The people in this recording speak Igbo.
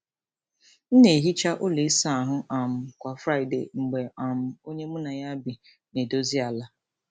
M na-ehicha ụlọ ịsa ahụ um kwa Friday mgbe um onye mụ na ya bi na-edozi ala.